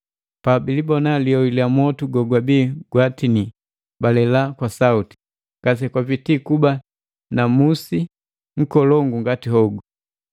na pabilibona lioi lya motu gogwabia gwatinia, balela kwa sauti, “Ngase kupiti kuba na musi nkolongu ngati hogu!”